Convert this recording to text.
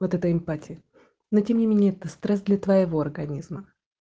вот это им пати но тем не менее это стресс для твоего организма